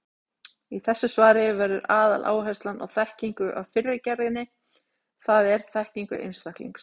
Í þessu svari verður aðaláherslan á þekkingu af fyrri gerðinni, það er þekkingu einstaklings.